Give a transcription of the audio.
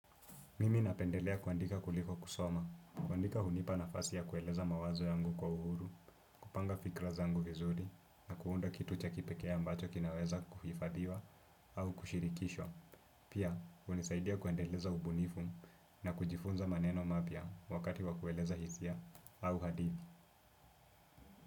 Mimi napendelea kuandika kuliko kusoma, kuandika hunipa nafasi ya kueleza mawazo yangu kwa uhuru, kupanga fikra zangu vizuri, na kuunda kitu cha kipekee ambacho kinaweza kuhifadhiwa, au kushirikishwa. Pia, hunisaidia kuendeleza ubunifu na kujifunza maneno mapya wakati wa kueleza hisia au hadithi.